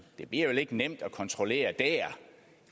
det bliver vel ikke nemt at kontrollere der